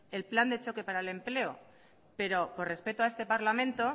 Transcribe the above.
el plan de choque para el empleo pero por respeto a este parlamento